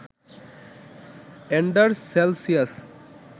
endures Celsius